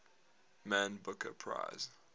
man booker prize